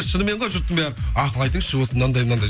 шынымен ғой жұрттың бәрі ақыл айтыңызшы осы мынандай мынандай